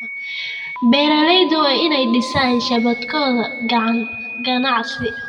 Beeraleydu waa inay dhisaan shabakado ganacsi.